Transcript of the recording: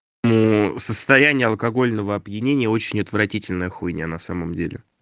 ну состояние алкогольного опьянения очень отвратительная хуйня на самом деле